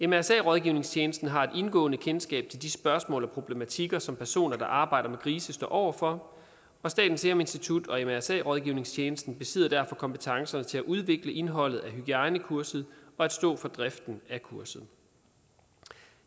mrsa rådgivningstjenesten har et indgående kendskab til de spørgsmål og problematikker som personer der arbejder med grise står over for og statens serum institut og mrsa rådgivningstjensten besidder derfor kompetencerne til at udvikle indholdet af hygiejnekurset og stå for driften af kurset